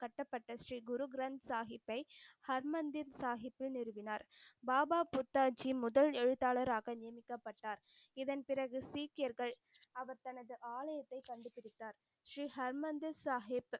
கட்டப்பட்ட ஸ்ரீ குரு கிரந்த் சாஹிபை ஹர்மந்திர் சாஹிப்பில் நிறுவினார். பாபா புத்தா ஜி முதல் எழுத்தாளராக நியமிக்கப்பட்டார். இதன் பிறகு சீக்கியர்கள் அவர் தனது ஆலயத்தை கண்டுபிடித்தார். ஸ்ரீ ஹர்மந்திர் சாஹிப்,